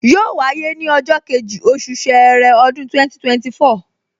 Yóò wáyé ní ọjọ́ kejì, oṣù ṣẹẹrẹ, ọdún 2024